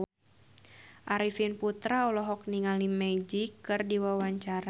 Arifin Putra olohok ningali Magic keur diwawancara